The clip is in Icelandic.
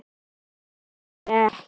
Ég yrði rekin.